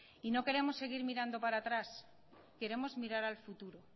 y no queremos seguir mirando para atrás queremos mirar al futuro